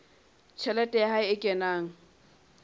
tjhelete ya hae e kenang